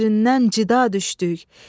Bir-birindən cida düşdük.